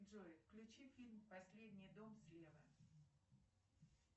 джой включи фильм последний дом слева